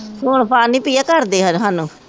ਹੁਣ ਫੜ੍ਹਣੀ ਪਈ ਹੈ ਘਰ ਦੇ ਆਉਣ ਸਾਨੂੰ